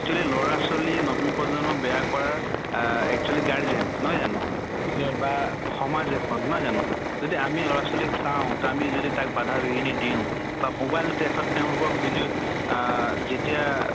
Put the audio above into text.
তʼ actually লʼৰা ছোৱালী নতুন প্ৰজন্ম বেয়া কৰাৰ আহ actually গাৰ্জেন, নহয় জানো? পিছে বা সমাজ এখন নহয় জানো? যদি আমি লʼৰা ছোৱালীক চাওঁ, আমি যদি তাক বাধা বিঘিনী দিওঁ বা mobile ত তেওঁলোকক যিটো আহ যেতিয়া